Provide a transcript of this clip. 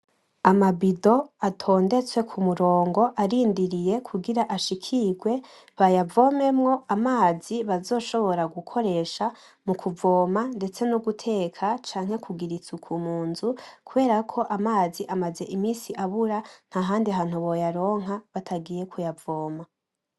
Amabido atondetse ku murongo arindiriye kugira ashikirwe bayavomemwo amazi bazoshobora gukoresha mu kuvoma ndetse no guteka, canke kugira isuku mu nzu, kubera ko amazi amaze iminsi abura nta handi hantu woyaronka batagiye kuyavoma.